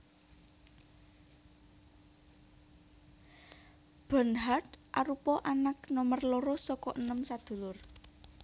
Bernhard arupa anak nomer loro saka enem sadulur